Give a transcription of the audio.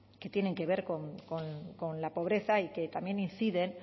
que tienen que ver con la pobreza y que también inciden